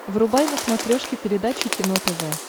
врубай на смотрешке передачу кино тв